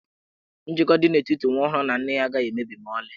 Njikọ dị n'etiti nwa ọhụrụ na nne agaghị emebi ma ọlị.